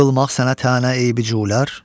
Qılmaq sənə tənə eybi güylər.